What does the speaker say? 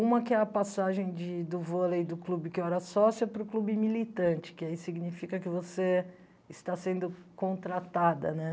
Uma que é a passagem de do vôlei do clube que eu era sócia para o clube militante, que aí significa que você está sendo contratada, né?